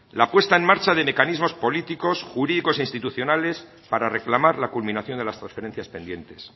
la puesta en marcha de mecanismos políticos jurídicos e institucionales para reclamar la culminación de las transferencias pendientes